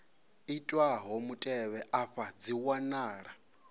itwaho mutevhe afha dzi wanala